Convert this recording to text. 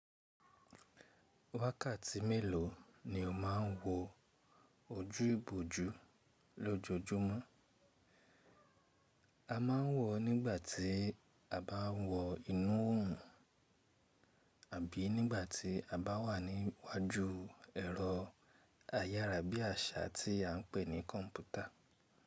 Wákàtí mélòó ni o má ń wọ ojú ibojú lójoojúmọ́? A má ń wọ̀ nígbà tí a bá ń wọ inú òòrùn àbí nígbà tí a bá wà níwájú ẹ̀rọ ayára bí àṣá tí a ń pè ní kọ́mpútà.